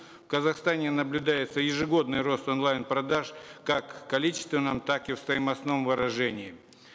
в казахстане наблюдается ежегодный рост онлайн продаж как в количественном так и в стоимостном выражении